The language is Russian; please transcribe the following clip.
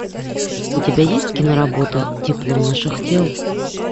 у тебя есть киноработа тепло наших тел